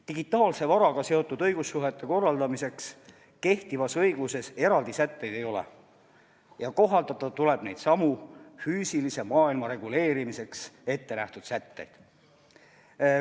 Digitaalse varaga seotud õigussuhete korraldamiseks kehtivas õiguses eraldi sätteid ei ole ja kohaldada tuleb neidsamu füüsilise maailma reguleerimiseks ettenähtud sätteid.